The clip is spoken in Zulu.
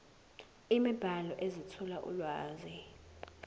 imibhalo ezethula ulwazi